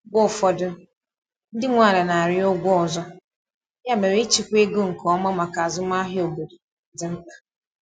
Mgbe ụfọdụ, ndị nwe ala na-arịọ ụgwọ ọzọ, ya mere ịchịkwa ego nke ọma maka azụmahịa obodo dị mkpa.